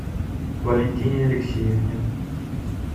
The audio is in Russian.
валентине алексеевне